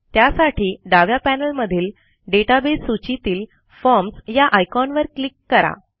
त्यासाठी डाव्या पॅनेलमधील डेटाबेस सूचीतील फॉर्म्स या आयकॉनवर क्लिक करा